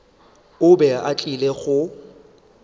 o be a tlile go